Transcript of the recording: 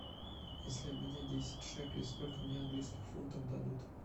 если обменять десять шекелей сколько мне английских фунтов дадут